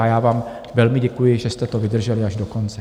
A já vám velmi děkuji, že jste to vydrželi až do konce.